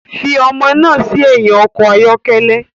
Fi ọmọ náà sí ẹ̀yìn ọkọ̀ ayọ́kẹ́lẹ́